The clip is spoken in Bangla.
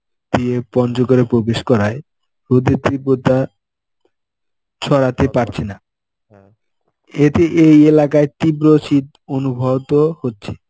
দিয়ে পঞ্চগড়ে প্রবেশ করায়. রোদের তীব্রতা ছড়াতে পারছে না. এতে এই এলাকায় তীব্র শীত অনুভবও হচ্ছে.